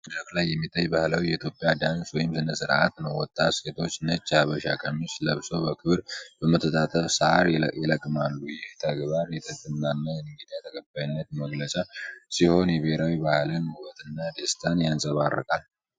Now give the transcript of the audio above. በደማቅ መድረክ ላይ የሚታይ ባህላዊ የኢትዮጵያ ዳንስ ወይም ሥነ ሥርዓት ነው። ወጣት ሴቶች ነጭ የሐበሻ ቀሚስ ለብሰው በክብር በመተጣጠፍ ሣር ይለቅማሉ። ይህ ተግባር የትህትናና የእንግዳ ተቀባይነት መገለጫ ሲሆን፣ የብሔራዊ ባህልን ውበትና ደስታ ያንፀባርቃል።